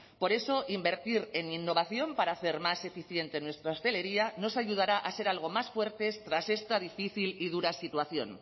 por eso invertir en innovación para hacer más eficiente nuestra hostelería nos ayudará a ser algo más fuertes tras esta difícil y dura situación